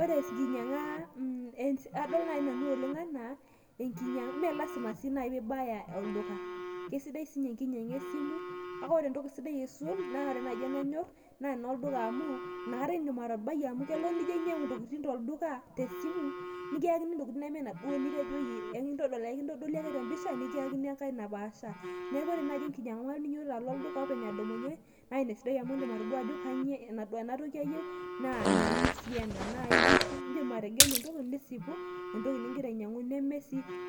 ore enkinyiang'a adol naaji nanu oleng anaa, ime lasima sii naaji pee ibaya olduka, keisidai sii ninye enkinyiang'a esimu, kake ore entoki sidai aisul, naa ore naaji enanyor naa enolduka amu, inakata idim atabai. amu kelo nijo ainyiang'u intokitin tolduka tesimu, nikiyakini ineme inaduoo nitejo iyie, ekintodoli ake te mpisha nikiyakini enkae napaashari. neeku ore naaji enkinyiang'a nidumunye alo olduka openy naa ina esidai amu indim atejo ena toki ayieu mayieu sii ena.